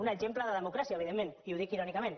un exemple de democràcia evidentment i ho dic irònicament